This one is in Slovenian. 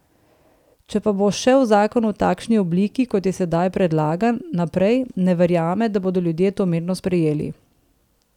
Če pa bo šel zakon v takšni obliki, kot je sedaj predlagan, naprej, ne verjame, da bodo ljudje to mirno sprejeli.